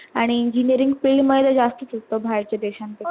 आणि engineeringfield मध्ये जास्तच असत बाहेरचा देशां पेक्षा